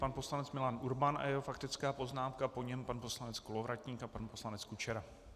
Pan poslanec Milan Urban a jeho faktická poznámka, po něm pan poslanec Kolovratník a pan poslanec Kučera.